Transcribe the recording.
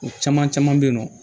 O caman caman bɛ yen nɔ